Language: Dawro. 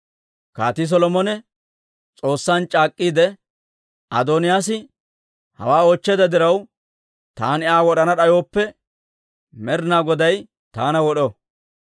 Kaatii Solomone S'oossan c'aak'k'iide, «Adooniyaas hawaa oochcheedda diraw taani Aa wod'ana d'ayooppe, Med'inaa Goday taana wod'o!